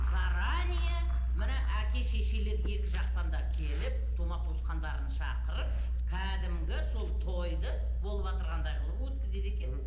заранее мына әке шешелер екі жақтан да келіп тума туысқандарын шақырып кәдімгі сол тойды болыватырғандай қылып өткізеді екен мхм